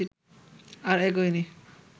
আর এগোয়নি